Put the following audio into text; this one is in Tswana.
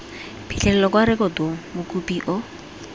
phitlhelelo kwa rekotong mokopi o